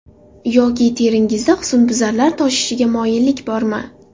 Yoki teringizda husnbuzarlar toshishiga moyillik bormi?